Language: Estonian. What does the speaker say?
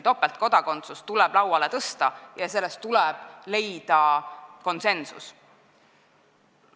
Topeltkodakondsus tuleb kindlasti lauale tõsta ja leida konsensus.